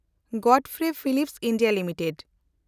ᱜᱚᱰᱯᱷᱨᱮ Philips India limited